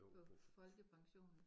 På folkepension